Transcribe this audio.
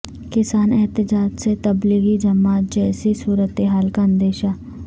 کسان احتجاج سے تبلیغی جماعت جیسی صورتحال کا اندیشہ